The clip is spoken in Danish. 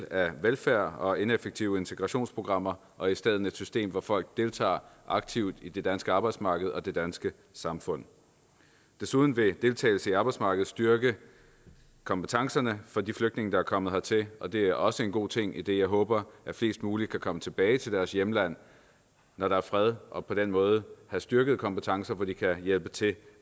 af velfærd og ineffektive integrationsprogrammer og i stedet have et system hvor folk deltager aktivt i det danske arbejdsmarked og det danske samfund desuden vil deltagelse på arbejdsmarkedet styrke kompetencerne for de flygtninge der er kommet hertil og det er også en god ting idet jeg håber at flest mulige kan komme tilbage til deres hjemland når der er fred og på den måde have styrkede kompetencer hvor de kan hjælpe til